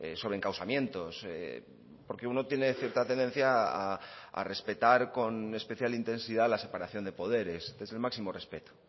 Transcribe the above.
sobre encausamientos porque uno tiene cierta tendencia a respetar con especial intensidad la separación de poderes desde el máximo respeto